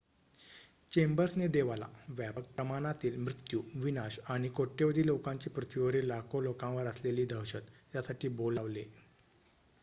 "चेंबर्सने देवाला "व्यापक प्रमाणातील मृत्यू विनाश आणि कोट्यावधी लोकांची पृथ्वीवरील लाखो लोकांवर असलेली दहशत" यासाठी बोल लावले.